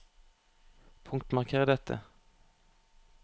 Punktmarker dette